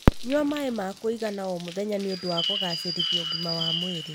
Nyua maĩ ma kũigana o mũthenya nĩ ũndũ wa kũgacĩrithia ũgima wa mwĩrĩ.